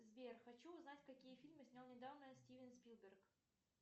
сбер хочу узнать какие фильмы снял недавно стивен спилберг